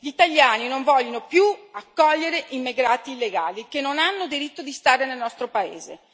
Gli italiani non vogliono più accogliere immigrati illegali che non hanno diritto di stare nel nostro Paese.